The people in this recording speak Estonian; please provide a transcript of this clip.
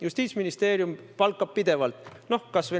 Justiitsministeerium palkab pidevalt õigusabi andjaid.